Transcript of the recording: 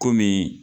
Komi